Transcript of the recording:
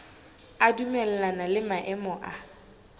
a dumellana le maemo a